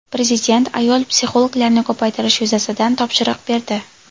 Prezident ayol psixologlarni ko‘paytirish yuzasidan topshiriq berdi.